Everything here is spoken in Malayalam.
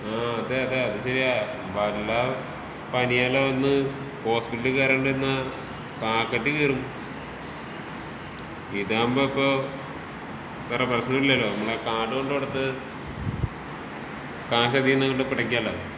ആഹ് അതേ അതേ അത് ശെരിയാ. വല്ല പനിയെല്ലാം വന്ന് ഹോസ്പിറ്റലിൽ കേറേണ്ടി വന്നാ പോക്കറ്റ് കീറും. ഇതാവുമ്പൊ ഇപ്പോ വേറെ പ്രശ്നം ഇല്ലല്ലോ നമ്മളെ കാർഡ് കൊണ്ട് കൊടുത്ത് ക്യാഷ് അതീന്ന് അങ്ങട്ട് പെടക്കാലോ.